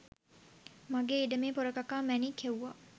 මගේ ඉඩමේ පොරකකා මැණික්‌ හෙව්වා